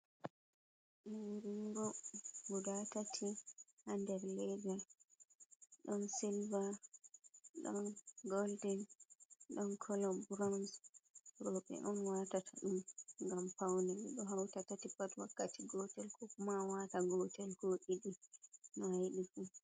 Liringo guda tati ha nder leda. Ɗon sylva, ɗon goldin, ɗon kala buroun. Roɓe on watata ɗum, gam paune. Ɓeɗo wata tati pat wakkati gotel, ko ma wata gotel, ko ɗiɗi. No a yiɗi fu.